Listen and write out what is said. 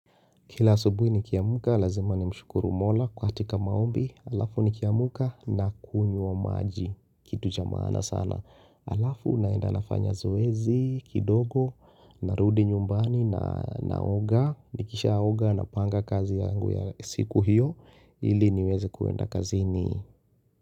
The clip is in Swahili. Kila asubuhi nikiamka, lazima nimshukuru mola katika maombi, alafu nikiamka nakunywa maji, kitu cha maana sana. Alafu naenda nafanya zoezi, kidogo, narudi nyumbani na naoga, nikishaoga napanga kazi yangu ya siku hiyo, ili niweze kuenda kazini.